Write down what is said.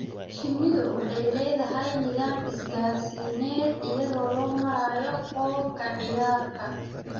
Shinnidu waxay leedahay nidaam isgaarsiineed iyadoo loo marayo qoob ka ciyaarka.